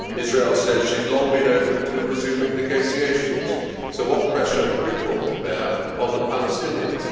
Israel says she has long been open to resuming negotiations, so what pressure have you brought to bear on the Palestinians?